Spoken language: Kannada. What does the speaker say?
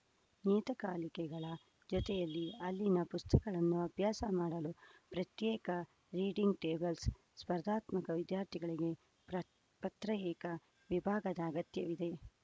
ನಿಯತಕಾಲಿಕೆಗಳ ಜೊತೆಯಲ್ಲಿ ಅಲ್ಲಿನ ಪುಸ್ತಕಗಳನ್ನೂ ಅಭ್ಯಾಸ ಮಾಡಲು ಪ್ರತ್ಯೇಕ ರೀಡಿಂಗ್‌ ಟೇಬಲ್ಸ್‌ ಸ್ಪರ್ಧಾತ್ಮಕ ವಿದ್ಯಾರ್ಥಿಗಳಿಗೆ ಪ್ರತ್ ಪತ್ರಯೇಕಾ ವಿಭಾಗದ ಅಗತ್ಯವಿದೆ